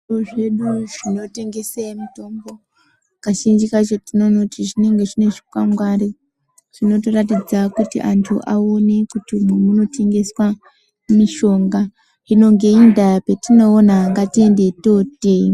Kuzvitoro zvinotengesa mitombo tinoona kuti kazhinji kacho zvinenge zvine zvikwangwari zvinotoratidza anthu kuti munotengeswa mitombo. Hino ngeiyi ndaa patinoona ngatiendeyi totenga.